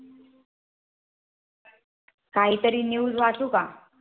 काही तरी News वाचू का?